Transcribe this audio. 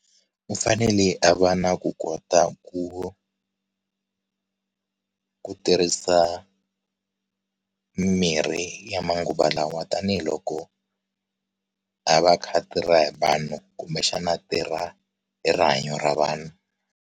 U fanele a va na ku kota ku ku tirhisa mimirhi ya manguva lawa tanihiloko a va akha a tirha hi vanhu kumbexana a tirha hi rihanyo ra vanhu.